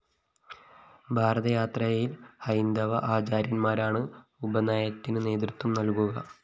ഭാരതയാത്രയില്‍ ഹൈന്ദവ ആചാര്യന്‍മാരാണ് ഉപനയനത്തിന് നേതൃത്വം നല്‍കുക